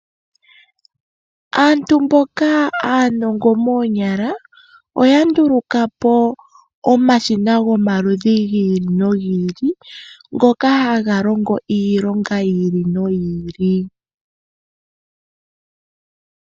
Aantu mboka aanongo moonyala oya nduluka po omashina gomaludhi gi ili nogi ili ngoka haga longo iilonga yi ili noyi ili.